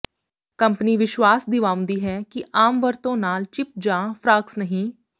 company ਵਿਸ਼ਵਾਸ ਦਿਵਾਉਂਦੀ ਹੈ ਕਿ ਆਮ ਵਰਤੋਂ ਨਾਲ ਚਿੱਪ ਜਾਂ ਫਰਾਕਸ ਨਹੀਂ